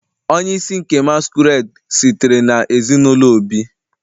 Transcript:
Onye isi nke masquerade sitere na ezinụlọ Obi